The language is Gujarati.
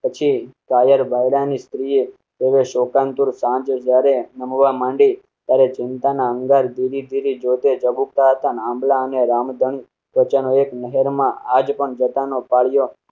પછી કાયર ભાયડા ની સક્રિય રહે શો. કાનપુર, સાંજે જ્યારે નમવા માંડી ત્યારે ચિતા ના અંગારા ધીરી ધીરી જોડે ઝઘડા થાંભલા અને રામ ધન વચ્ચે નો એક નહેર માં આજ પણ જટા ન કોળીઓ